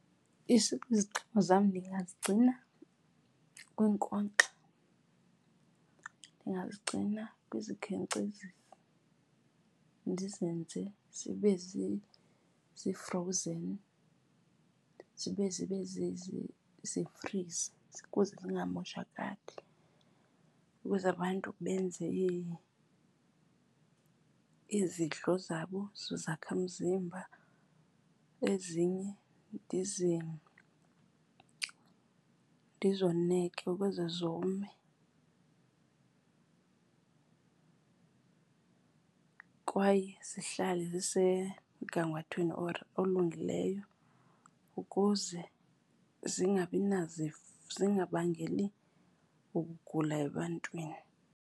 Iziqhamo zam ndingazigcina kwiinkonkxa, ndingazigcina kwizikhenkcezisi, ndizenze zibe zi-frozen, zibe zibe zifrize ukuze zingamoshakali, ukuze abantu benze izidlo zabo zezakhamzimba. Ezinye ndizoneke ukuze zome kwaye zihlale zisemgangathweni olungileyo ukuze zingabangeli ukugula ebantwini.